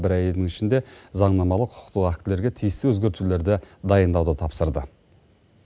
бір айдың ішінде заңнамалық құқықтық актілерге тиісті өзгертулерді дайындауды тапсырды